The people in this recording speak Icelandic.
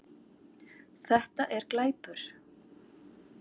Þetta er glæpur